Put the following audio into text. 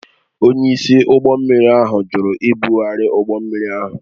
Onyeisi ụgbọ mmiri ahụ jụrụ ibugharị ụgbọ mmiri ahụ